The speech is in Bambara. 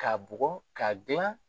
Ka bukɔ ka gilan